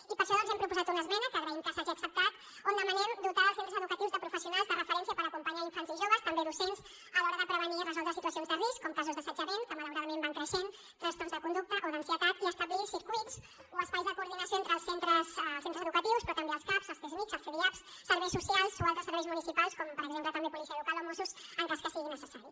i per això doncs hem proposat una esmena que agraïm que s’hagi acceptat on demanem dotar els centres educatius de professionals de referència per acompanyar infants i joves també docents a l’hora de prevenir i resoldre situacions de risc com casos d’assetjament que malauradament van creixent trastorns de conducta o d’ansietat i establir circuits o espais de coordinació entre els centres educatius però també els caps els csmijs els cdiaps serveis socials o altres serveis municipals com per exemple també policia local o mossos en cas que sigui necessari